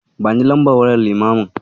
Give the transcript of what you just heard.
Bani lambar wayar limamin.